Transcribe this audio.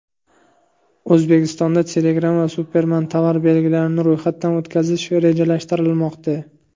O‘zbekistonda Telegram va Superman tovar belgilarini ro‘yxatdan o‘tkazish rejalashtirilmoqda.